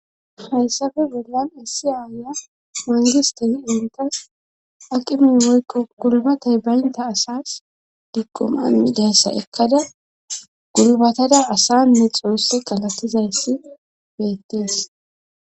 haysafe bollan essiaaya mangistesi intas aqimu woykko kulbatey baynta asas dikumani denssa ekkada gulbatada asanne xousse galattizayssi beettees